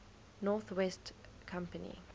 north west company